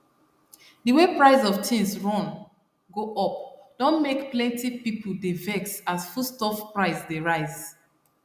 d way price of tins run go up don make plenty pipo dey vex as foodstuffs price dey rise